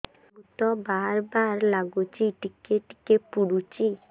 ମୁତ ବାର୍ ବାର୍ ଲାଗୁଚି ଟିକେ ଟିକେ ପୁଡୁଚି